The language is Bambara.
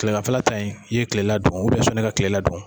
Kɛlɛganfɛla ta in, i ye kilela dun sɔnni i ka kilela dun.